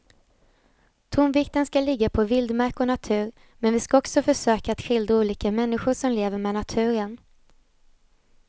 Tonvikten ska ligga på vildmark och natur men vi ska också försöka att skildra olika människor som lever med naturen.